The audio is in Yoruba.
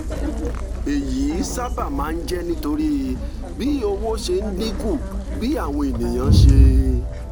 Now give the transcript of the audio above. èyí sábà máa ń jẹ́ nítorí bí owó ṣe ń dín kù bí àwọn èèyàn ṣe